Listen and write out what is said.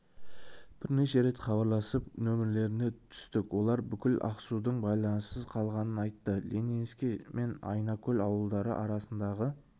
бірнеше рет хабарласып нөміріне түстік олар бүкіл ақсудың байланыссыз қалғанын айтты ленинский мен айнакөл ауылдары арасындағы